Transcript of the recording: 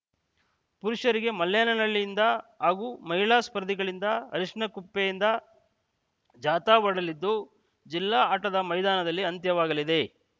ಪುರುಷರಿಗೆ ಮಲ್ಲೆನಹಳ್ಳಿಯಿಂದ ಹಾಗೂ ಮಹಿಳಾ ಸ್ಪರ್ಧಿಗಳಿಗೆ ಅರಶಿನಗುಪ್ಪೆಯಿಂದ ಜಾಥಾ ಹೊರಡಲಿದ್ದು ಜಿಲ್ಲಾ ಆಟದ ಮೈದಾನದಲ್ಲಿ ಅಂತ್ಯವಾಗಲಿದೆ